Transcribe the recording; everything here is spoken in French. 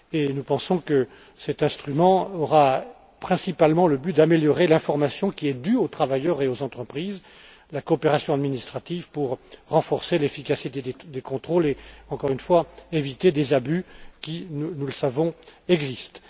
Nous pensons que cet instrument aura principalement pour but d'améliorer l'information qui est due aux travailleurs et aux entreprises, la coopération administrative pour renforcer l'efficacité des contrôles et, encore une fois, éviter des abus qui, nous le savons, existent.